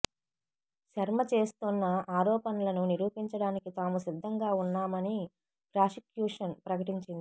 శర్మ చేస్తోన్న ఆరోపణలను నిరూపించడానికి తాము సిద్దంగా ఉన్నామని ప్రాసిక్యుషన్ ప్రకటించింది